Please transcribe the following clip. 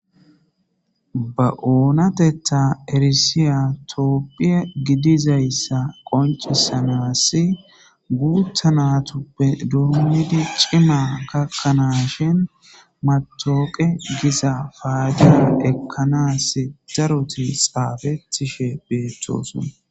Ba oonatetta erisiya toophphiya gidizayssa qoncisanas guuttanatuppe dommidi ciimma gakkanaashshin matooqe giza faaydiyan ekkanaas daroti xaafetishe beettosona